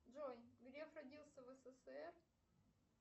джой греф родился в ссср